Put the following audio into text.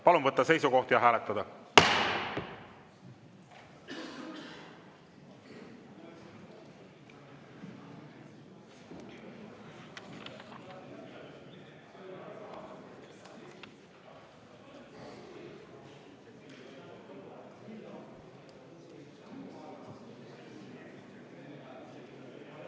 Palun võtta seisukoht ja hääletada!